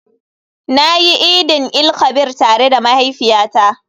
Na yi idin-il-kabir tare da mahaifiyata.